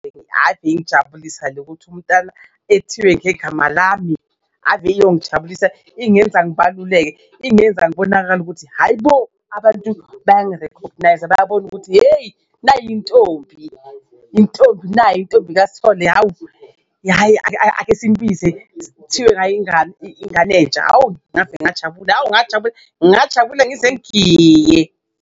Ave ingijabulisa le ukuthi umntana ethiwe ngegama lami ave iyongijabulisa ingenza ngibaluleke, ingenza ngibonakale ukuthi hhayi bo abantu bayangi-recogniser bayabona ukuthi, yeyi. Nayi intombi intombi nayi iy'ntombi kaSithole, hhawu hhayi ake simbize kuthiwe ngayo ingane ingane entsha hawu ngajabula hawu ngajabula, ngingajabula ngize ngigiye.